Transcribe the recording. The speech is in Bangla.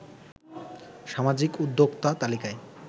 সামাজিক উদ্যোক্তা তালিকায়